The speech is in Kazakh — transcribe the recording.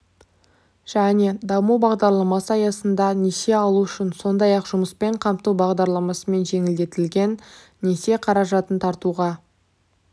және даму бағдарламасы аясында несие алу үшін сондай-ақ жұмыспен қамту бағдарламасымен жеңілдетілген несие қаржатын тартуға